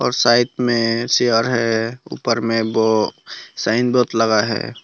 और साइड में चेयर है ऊपर में वो साइन बोर्ड लगा हैं।